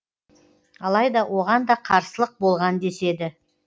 алайда оған да қарсылық болған деседі